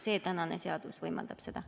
Tänane seadus võimaldab seda.